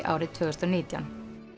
árið tvö þúsund og nítján